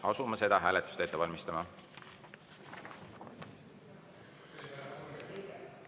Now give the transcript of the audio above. Asume seda hääletust ette valmistama.